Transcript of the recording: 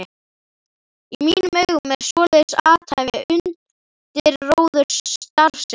Í mínum augum er svoleiðis athæfi undirróðursstarfsemi.